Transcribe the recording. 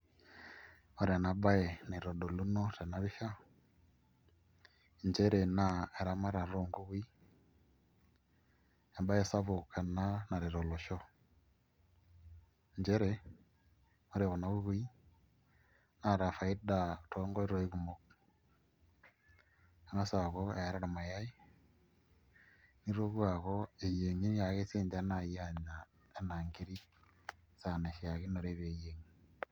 Ore enabae naitodolunu tenapisha nchere na eramatare onkukui embae sapuk ena naret olosho nchere ore kuna kukui naata faida tonkoitoi kumok angasa aaku eeta irnayai nitoki aaku eyiengi naiake apuo anya ena nkirkk esaa naishakinore peyieng.